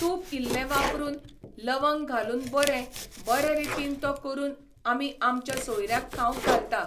तूप इल्लें वापरून, लवंग घालून बरें, बरे रितीन तो करून आमी आमच्या सोयऱ्यांक खावंक घालता.